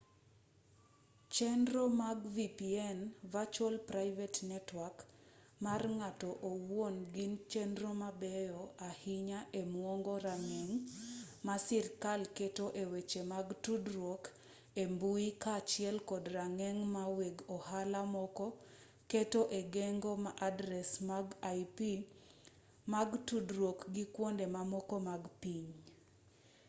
chenro mag vpn virtual private network mar ng'ato owuon gin chenro mabeyo ahinya e mwomo rageng' ma sirkal keto e weche mag tudruok e mbui kaachiel kod rageng' ma weg ohala moko keto e geng'o adres mag ip mag tudruok gi kwonde mamoko mag piny